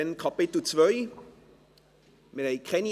II. (Keine Änderung anderer Erlasse.)